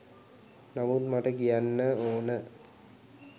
නමුත් මට කියන්න ඕන